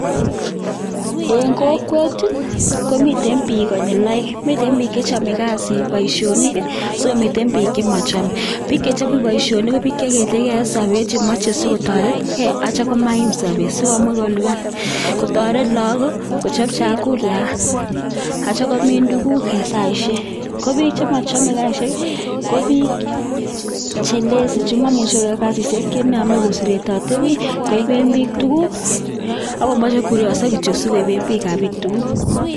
Eng kokwet ko mitten piik konyil oeng, miten biik chechomei kasit poisshonik sikomiten piik chemachamei. Piik chemachame poisshonik ko piik chekiilike eng sopet chemochei sikotoretke acho maiim sopet sikomuch kolipan, kotoret lakok kochop chakula atio komin tuguk eng saishek. Ko piik chemachame karishek ko piik che lazy chemoimuchei koyae kasishek chenaame koseretoe koiben biik tuguk akomochei koriopso kityo sikosikopen tuguk ap piik tuguk